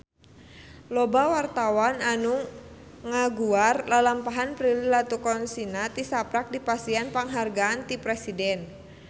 Loba wartawan anu ngaguar lalampahan Prilly Latuconsina tisaprak dipasihan panghargaan ti Presiden